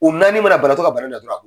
U naani mana banabaatɔ ka bana na tɔ la